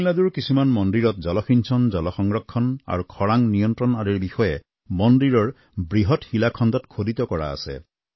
তামিলনাডুৰ কিছুমান মন্দিৰত জলসিঞ্চন জন সংৰক্ষণ আৰু খৰাং নিয়ন্ত্ৰণ আদিৰ বিষয়ে মন্দিৰৰ বৃহৎ শিলাখণ্ডত খোদিত কৰা আছে